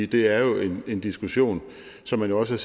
det er jo en diskussion som man også